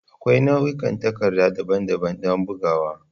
Akwai nau'ikan takarda daban-daban don bugawa.